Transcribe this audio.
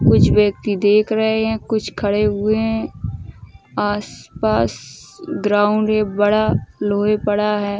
कुछ व्यक्ति देख रहे हैं कुछ खड़े हुए हैं। आसपास ग्राउंड है बड़ा। लोहे पड़ा है।